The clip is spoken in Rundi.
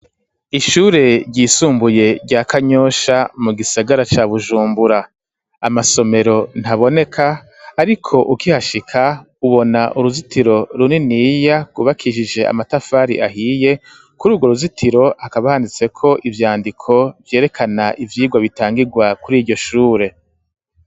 Ishure ryisumbuye rya kanyosha mu gisagara ca bujumbura amasomero ntaboneka ariko ukihashika ubona uruzitiro runiniya rwubakishije amatafari ahiye kuri urwo ruzitiro akaba handitseko ivyandiko vyerekana ivyigwa bitangigwa kuri iryoshure.